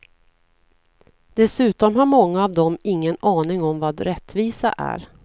Dessutom har många av dem ingen aning om vad rättvisa är.